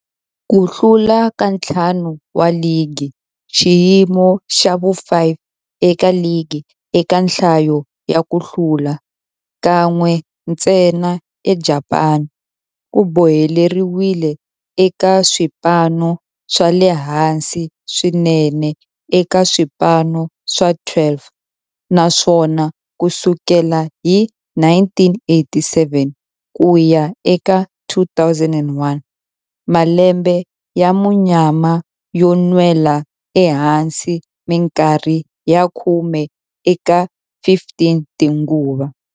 Ku hlula ka ntlhanu wa ligi, xiyimo xa vu-5 eka ligi eka nhlayo ya ku hlula, kan'we ntsena eJapani, ku boheleriwile eka swipano swa le hansi swinene eka swipano swa 12, naswona ku sukela hi 1987 ku ya eka 2001, malembe ya munyama yo nwela ehansi minkarhi ya khume eka 15 tinguva.